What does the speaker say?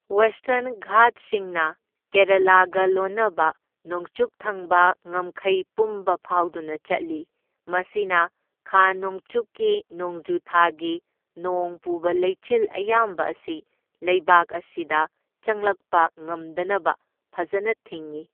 Western ꯘꯥꯠꯁꯤꯡꯅ ꯀꯦꯔꯥꯂꯥꯒ ꯂꯣꯟꯅꯕ ꯅꯣꯡꯆꯨꯞ ꯊꯪꯕ ꯉꯝꯈꯩ ꯄꯨꯝꯕ ꯐꯥꯎꯗꯨꯅ ꯆꯠꯂꯤ, ꯃꯁꯤꯅ ꯈꯥ ꯅꯣꯡꯆꯨꯞꯀꯤ ꯅꯣꯡꯖꯨꯊꯥꯒꯤ ꯅꯣꯡ ꯄꯨꯕ ꯂꯩꯆꯤꯜ ꯑꯌꯥꯝꯕ ꯑꯁꯤ ꯂꯩꯕꯥꯛ ꯑꯁꯤꯗ ꯆꯪꯂꯛꯄ ꯉꯝꯗꯅꯕ ꯐꯖꯅ ꯊꯤꯡꯏ꯫